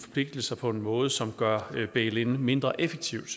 forpligtelser på en måde som gør bail in mindre effektivt